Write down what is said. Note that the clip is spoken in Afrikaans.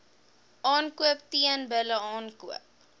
aankoop teelbulle aankoop